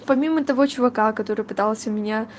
помимо того чувака который пытался меня